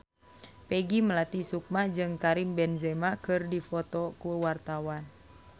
Peggy Melati Sukma jeung Karim Benzema keur dipoto ku wartawan